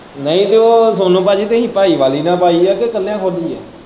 ਨਹੀਂ ਤੇ ਉਹ ਤੁਸੀਂ ਭਾਈਵਾਲੀ ਨਾਲ ਪਾਈ ਹੈ ਕਿ ਇੱਕਲਿਆ ਖੋਲੀ ਹੈ।